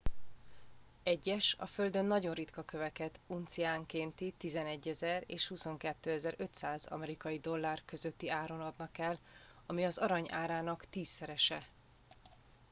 egyes a földön nagyon ritka köveket unciánkénti 11,000 és 22,500 amerikai dollár közötti áron adnak el ami az arany árának tízszerese